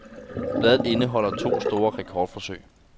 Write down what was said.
Billedet indeholder to store rekordforsøg.